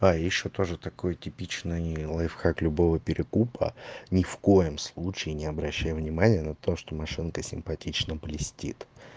а ещё тоже такой типичный лайфхак любого перекупа ни в коем случае не обращай внимания на то что машинка симпатично блестит